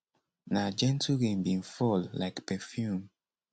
na gentle rain bin fall like perfume